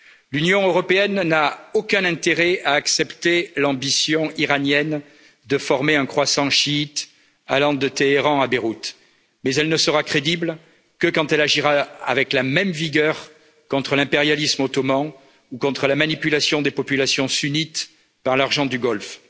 L'Union européenne n'a aucun intérêt à accepter l'ambition iranienne de former un croissant chiite allant de Téhéran à Beyrouth, mais elle ne sera crédible que quand elle agira avec la même vigueur contre l'impérialisme ottoman ou contre la manipulation des populations sunnites par l'argent du Golfe.